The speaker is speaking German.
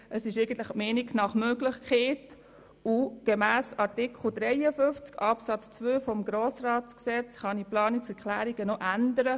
Gemäss Artikel 53 Absatz 2 des Gesetzes über den Grossen Rat (Grossratsgesetz, GRG) kann man Planungserklärungen noch ändern.